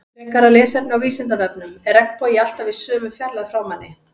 Frekara lesefni á Vísindavefnum Er regnbogi alltaf í sömu fjarlægð frá manni?